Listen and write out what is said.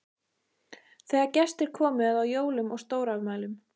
Þegar gestir komu eða á jólum og stórafmælum.